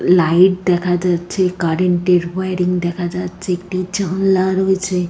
Light দেখা যাচ্ছে current -এর ওয়ারিং দেখা যাচ্ছে একটি জানলা রয়েছে।